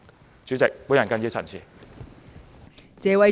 代理主席，我謹此陳辭。